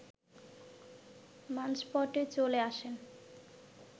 মানসপটে চলে আসে